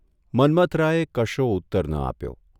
મન્મથરાયે કશો ઉત્તર ન આપ્યો.